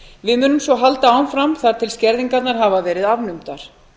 við munum svo halda áfram þar til skerðingarnar hafa verið afnumdar